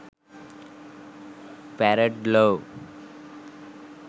farad law